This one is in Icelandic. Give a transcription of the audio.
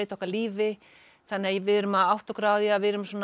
okkar lífi þannig að við erum að átta okkur á því að við erum